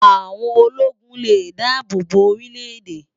Áwón ólógún lé dàábó bó órilè édè